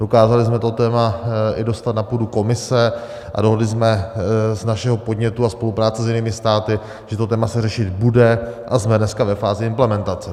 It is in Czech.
Dokázali jsme to téma dostat i na půdu komise a dohodli jsme z našeho podnětu a spolupráce s jinými státy, že to téma se řešit bude, a jsme dneska ve fázi implementace.